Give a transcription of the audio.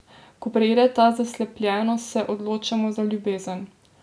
Ko preide ta zaslepljenost, se odločamo za ljubezen.